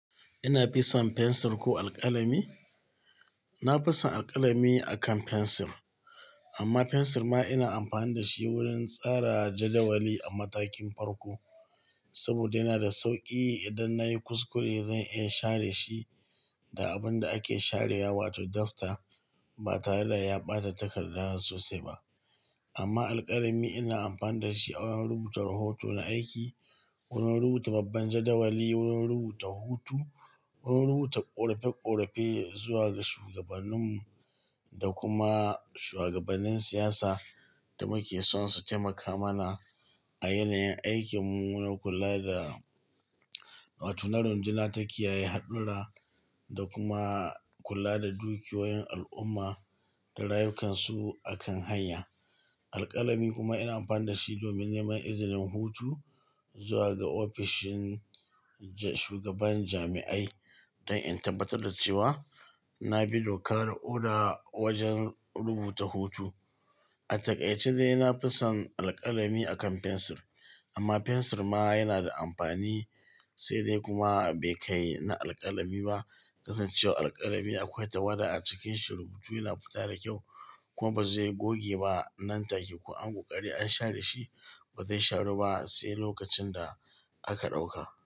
Ina fison fensir ko alkalami? Na fi son alkalami akan fensir. Amma fensir ma ina amfani da shi wurin tsara jadawali a matakin farko saboda yana da sauƙi idan na yi kuskure zan iya in share shi da abun da ake sharewa wato dosta ba tare da ya ɓata takarda na sosai ba. Amma alkalami ina amfani da shi awon rubuta rahoto na aiki, wurin rubuta babban jadawali, wurin rubuta hutu, wurin rubuta ƙorafe-ƙorafe zuwa ga shugabaninmu da kuma shuwagabanin siyasa da muke son su taimaka mana a yanayin aikinmu, wurin kula da wato na runduna ta kiyaye haɗura da kuma kula da dukiyoyin al'umma da rayukansu akan hanya. Alkalami kuma ina amfani da shi domin neman izinin hutu zuwa ga ofishin shugaban jami'ai don in tabbatar da cewa na bi doka da oda wajen rubuta hutu. A takaice dai na fi son alkalami akan fensir amma fensir ma yana da amfani sai dai kuma bai kai na alkalami ba. Kasancewar alkalami akwai tawada a cikin shi rubutu yana fita da kyau kuma ba zai goge ba nan take ko an koƙari an share shi ba zai sharu ba sai lokacin da aka ɗauka.